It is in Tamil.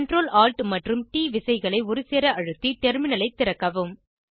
Ctrl Alt மற்றும் ட் விசைகளை ஒருசேர அழுத்தி டெர்மினலை திறக்கவும்